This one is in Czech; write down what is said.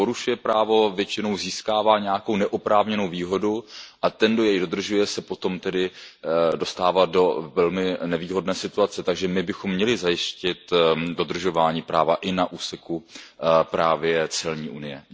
Kdo porušuje právo, většinou získává nějakou neoprávněnou výhodu a ten, kdo jej dodržuje, se potom tedy dostává do velmi nevýhodné situace, takže my bychom měli zajistit dodržování práva i na úseku právě celní unie.